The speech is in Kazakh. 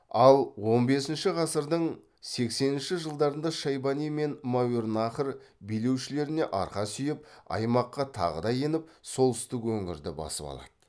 ал он бесінші ғасырдың сексенінші жылдарында шайбани мен мәуереннахр билеушілеріне арқа сүйеп аймаққа тағы да еніп солтүстік өңірді басып алады